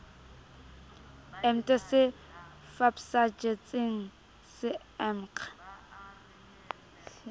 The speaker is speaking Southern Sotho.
emte se fpsajetsemg se emg